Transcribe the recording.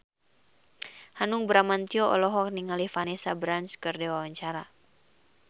Hanung Bramantyo olohok ningali Vanessa Branch keur diwawancara